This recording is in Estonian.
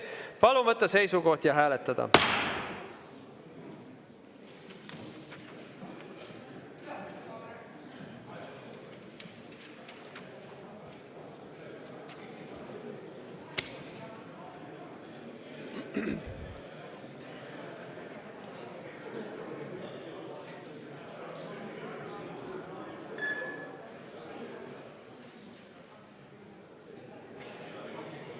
Palun võtta seisukoht ja hääletada!